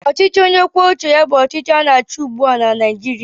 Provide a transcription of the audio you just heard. Ọchịchị onye kwuo uche ya bụ ọchịchị na-achị ugbu a na Naijirịa